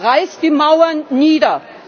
Der Ruf Reißt die Mauern nieder!